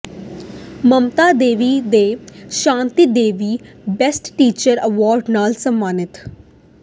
ਮਮਤਾ ਦੇਵੀ ਤੇ Shanti Devi best teacher award ਨਾਲ ਸਨਮਾਨਿਤ